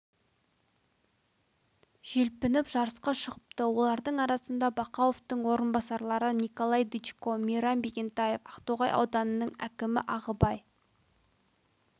желпініп жарысқа шығыпты олардың арасында бақауовтың орынбасарлары николай дычко мейрам бегентаев ақтоғай ауданының әікімі ағыбай